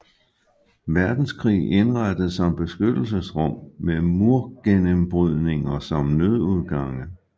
Verdenskrig indrettet som beskyttelsesrum med murgennembrydninger som nødudgange